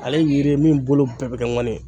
Ale yiri min bolo bɛɛ bɛ kɛ ŋanin ye.